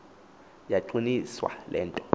yaqiniswa le nto